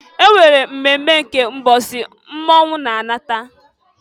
E nwere mmemme nke mbọsị mmọnwụ na-alata.